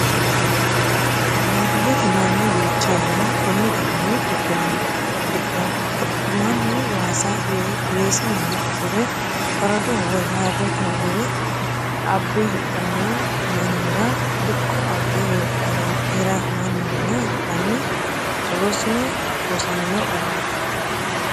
Baadiyyete mannu duucha yanna koni garinni dikirano dikko, mannu waasa weeseniha usure faradoho woyi harete hogowe abbe hidhano mannira dikko abbe hiramaninna hidhanni rosino, rosamino garati.